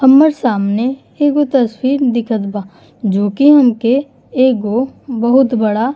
हम्मर सामने एगो तस्वीर दिखत बा जो कि हमके एगो बहुत बड़ा --